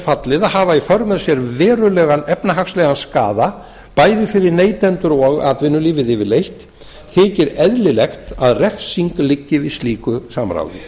fallið að hafa í för með sér verulegan efnahagslegan skaða bæði fyrir neytendur og atvinnulífið yfirleitt þykir eðlilegt að refsing liggi við slíku samráði